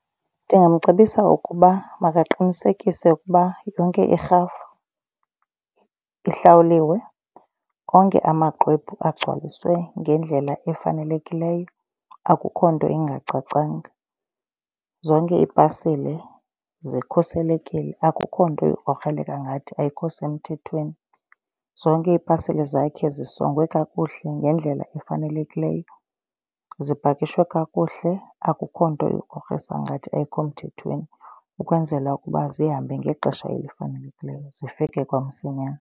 Ndingamcebisa ukuba makaqinisekise ukuba yonke irhafu ihlawuliwe, onke amaxwebhu azigcwaliswe ngendlela efanelekileyo, akukho nto ingacacanga. Zonke iipasile zikhuselekile, akukho nto ikrokrela ngathi ayikho semthethweni. Zonke iipasile zakhe zisongwe kakuhle ngendlela efanelekileyo, zipakishwe kakuhle, akukho nto ikrokrisa ngathi ayikho mthethweni ukwenzela ukuba zihambe ngexesha elifanelekileyo zifike kwamsinyane.